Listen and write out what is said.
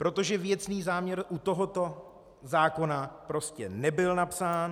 Protože věcný záměr u tohoto zákona prostě nebyl napsán.